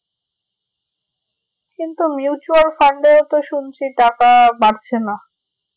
কিন্তু mutual fund এ তো শুনছি টাকা বাড়ছে না